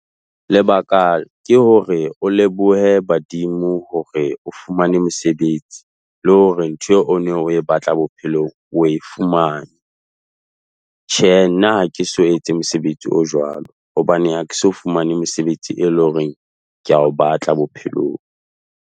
Lebaka ke hore o lebohe badimo hore o fumane mosebetsi le hore ntho eo o ne o e batla bophelong o e fumane. Tjhe nna, ha ke so etse mosebetsi o jwalo hobane ha ke so fumane mesebetsi, e leng hore ke a o batla bophelong.